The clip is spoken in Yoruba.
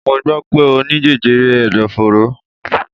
Mo gbọ́ pé Ó ní jẹjẹrẹ ẹ̀dọ̀fóró.